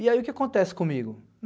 E aí o que acontece comigo?